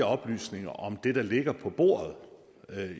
oplysninger om det der ligger på bordet